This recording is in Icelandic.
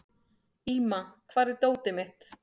Íma, hvar er dótið mitt?